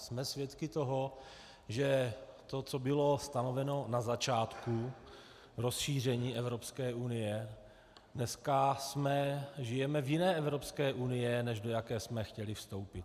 Jsme svědky toho, že to, co bylo stanoveno na začátku rozšíření Evropské unie, dneska žijeme v jiné Evropské unii, než do jaké jsme chtěli vstoupit.